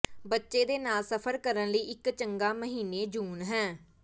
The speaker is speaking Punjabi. ਬੱਚੇ ਦੇ ਨਾਲ ਸਫ਼ਰ ਕਰਨ ਲਈ ਇੱਕ ਚੰਗਾ ਮਹੀਨੇ ਜੂਨ ਹੈ